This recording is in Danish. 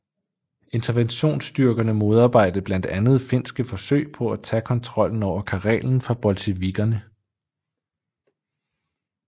Interventionsstyrkerne modarbejdede blandt andet finske forsøg på at tage kontrollen over Karelen fra bolsjevikkerne